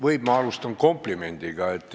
Võib, ma alustan komplimendiga?